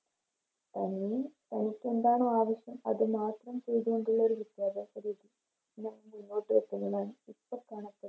അല്ലങ്കിൽ അവർക്കെന്താണ് ആവശ്യം അത് മാത്രം ചെയ്ത മതിയൊരു വിദ്യാഭ്യാസ രീതി കാണപ്പെടും